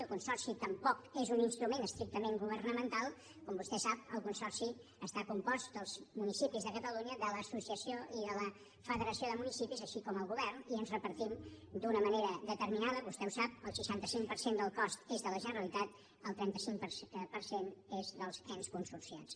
el consorci tampoc és un instrument estrictament governamental com vostè sap el consorci està compost dels municipis de catalunya de l’associació i de la federació de municipis com també el govern i ens repartim d’una manera determinada vostè ho sap el seixanta cinc per cent del cost és de la generalitat el trenta cinc per cent és dels ens consorciats